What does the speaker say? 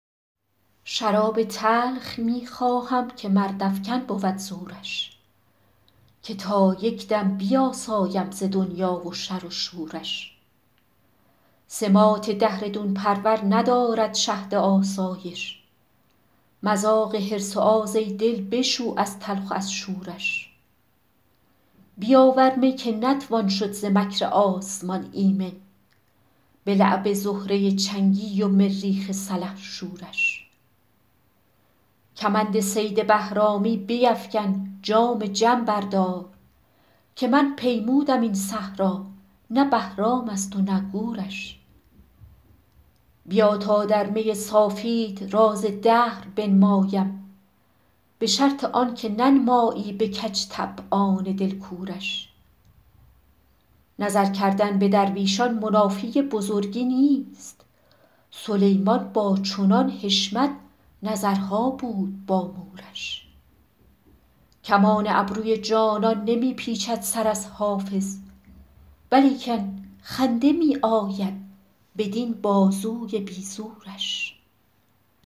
شراب تلخ می خواهم که مردافکن بود زورش که تا یک دم بیاسایم ز دنیا و شر و شورش سماط دهر دون پرور ندارد شهد آسایش مذاق حرص و آز ای دل بشو از تلخ و از شورش بیاور می که نتوان شد ز مکر آسمان ایمن به لعب زهره چنگی و مریخ سلحشورش کمند صید بهرامی بیفکن جام جم بردار که من پیمودم این صحرا نه بهرام است و نه گورش بیا تا در می صافیت راز دهر بنمایم به شرط آن که ننمایی به کج طبعان دل کورش نظر کردن به درویشان منافی بزرگی نیست سلیمان با چنان حشمت نظرها بود با مورش کمان ابروی جانان نمی پیچد سر از حافظ ولیکن خنده می آید بدین بازوی بی زورش